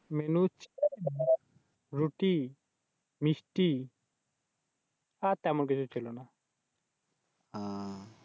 Menu ছিল রুটি, মিষ্টি আর তেমন কিছু ছিলনা।